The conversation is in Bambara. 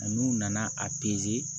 N'u nana a